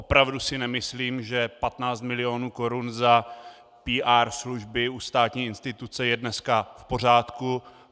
Opravdu si nemyslím, že 15 mil. korun za PR služby u státní instituce je dneska v pořádku.